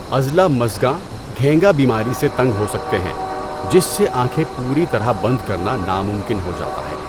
عضلہ مژگاں، گھینگا بیماری سے تنگ ہو سکتے ہیں، جس سے آنکھیں پوری طرح بند کرنا ناممکن ہو جاتا ہے۔